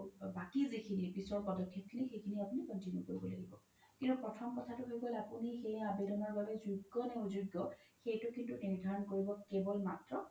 বাকি যিখিনি সিখিনি আপোনি continue কৰিব লাগিব কিন্তু প্ৰথম কথাতো হৈ গ্'ল আপোনি সেই আবেদনৰ বাবে যগ্য নে অযগ্য সেইতো কিন্তু নিৰ্ধাৰন কেৱল মাত্ৰ